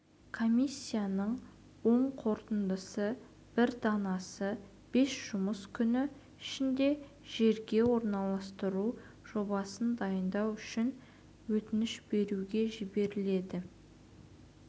комиссияның оң қорытындысының бір данасы бес жұмыс күні ішінде жерге орналастыру жобасын дайындау үшін өтініш берушіге жіберіледі